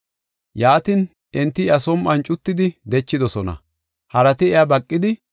Yaatin, enti iya som7on cuttidi dechidosona. Harati iya baqidi,